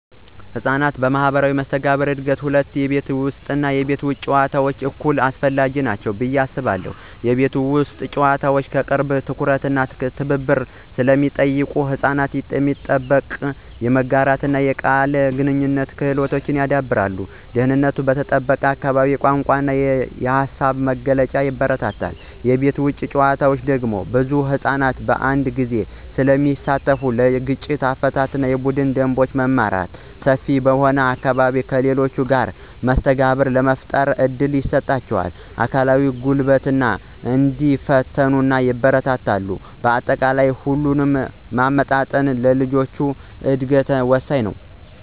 ለሕፃናት ማኅበራዊ መስተጋብር እድገት ሁለቱም የቤት ውስጥ እና የቤት ውጭ ጨዋታዎች እኩል አስፈላጊ ናቸው ብዬ አስባለሁ። የቤት ውስጥ ጨዋታዎች የቅርብ ትኩረት እና ትብብር ስለሚጠይቁ ሕፃናት የመጠበቅ፣ የመጋራትና የቃል ግንኙነት ክህሎቶችን ያዳብራሉ። ደህንነቱ በተጠበቀ አካባቢ የቋንቋ እና የሃሳብ መግለጫን ያበረታታል። የቤት ውጭ ጨዋታዎች ደግሞ ብዙ ሕፃናትን በአንድ ጊዜ ስለሚያሳትፉ ለግጭት አፈታት፣ የቡድን ደንቦችን መማር እና ሰፊ በሆነ አካባቢ ከሌሎች ጋር መስተጋብር ለመፍጠር እድል ይሰጣል። አካላዊ ጉልበትንና ደፋርነትንም ያበረታታል። በአጠቃላይ፣ ሁለቱን ማመጣጠን ለልጆች እድገት ወሳኝ ነው።